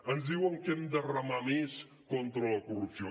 ens diuen que hem de remar més contra la corrupció